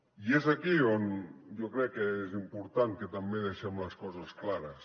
i és aquí on jo crec que és important que també deixem les coses clares